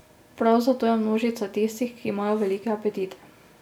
Prav zato je množica tistih, ki imajo velike apetite.